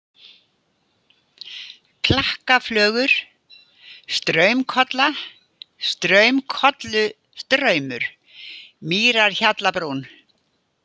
Klakkaflögur, Straumakolla, Straumakollustraumur, Mýrarhjallabrún